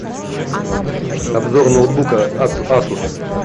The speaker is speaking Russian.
обзор ноутбука асус